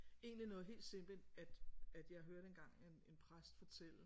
Egentlig noget helt simpelt at at jeg hørte engang en en præst fortælle